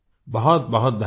बहुतबहुत धन्यवाद